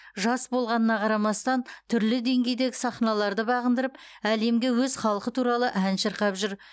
жас болғанына қарамастан түрлі деңгейдегі сахналарды бағындырып әлемге өз халқы туралы ән шырқап жүр